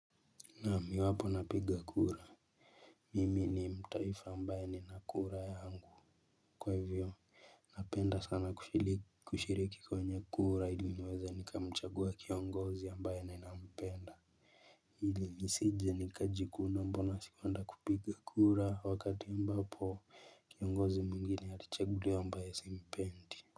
Naam iwapo napiga kura. Mimi ni mtaifa ambaye nina kura yangu kwa hivyo. Napenda sana kushiriki kwa wenye kura ilo niweze nikamchagua kiongozi ambaye ninampenda ili nisije nikajikuna mbona sikuenda kupiga kura wakati ambapo kiongozi mwengine atachaguliwa ambaye simpendi.